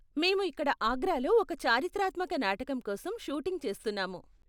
మేము ఇక్కడ ఆగ్రాలో ఒక చారిత్రాత్మక నాటకం కోసం షూటింగ్ చేస్తున్నాము.